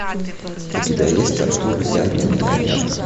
у тебя есть артур идеальный миллионер